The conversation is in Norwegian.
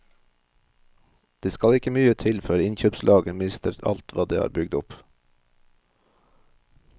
Det skal ikke mye til før innkjøpslaget mister alt hva det har bygd opp.